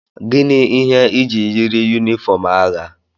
Gịnị ihe ị ji yiri yunifọm agha?